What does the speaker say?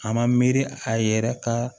A ma miiri a yɛrɛ ka